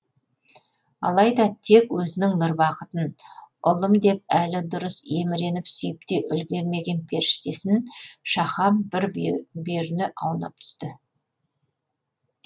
алайда тек өзінің нұрбақытын ұлым деп әлі дұрыс еміреніп сүйіп те үлгермеген періштесін шахан бір бүйіріне аунап түсті